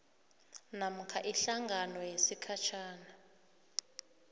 namkha ihlangano yesikhatjhana